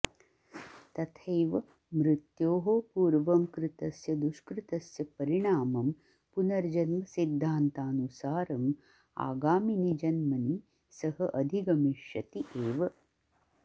तथैव मृत्योः पूर्वं कृतस्य दुष्कृतस्य परिणामं पुनर्जन्मसिध्दान्तानुसारम् आगामिनि जन्मनि सः अधिगमिष्यति एव